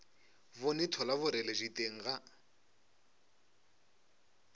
bone thola boreledi teng ga